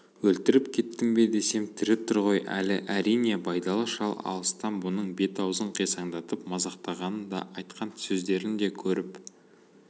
өлтіріп кеттім бе десем тірі тұр ғой әлі әрине байдалы шал алыстан мұның бет-аузын қисаңдатып мазақтағанын да айтқан сөздерін де көріп